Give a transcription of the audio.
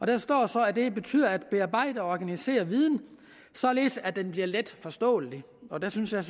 der står så at det betyder at bearbejde og organisere viden således at den bliver letforståelig og der synes jeg